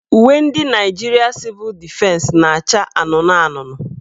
Uwe ndị Nigeria Civil Defense naacha anụnụanụnụ.